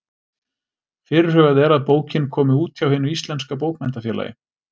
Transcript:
Fyrirhugað er að bókin komi út hjá Hinu íslenska bókmenntafélagi.